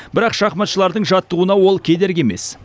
бірақ шахматшылардың жаттығуына ол кедергі емес